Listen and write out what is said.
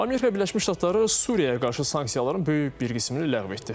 Amerika Birləşmiş Ştatları Suriyaya qarşı sanksiyaların böyük bir qismini ləğv etdi.